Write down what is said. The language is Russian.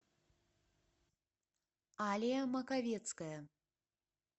алия маковецкая